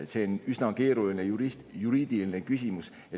See on üsna keeruline juriidiline küsimus.